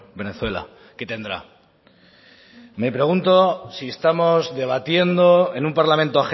venezuela qué tendrá me pregunto si estamos debatiendo en un parlamento